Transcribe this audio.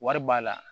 Wari b'a la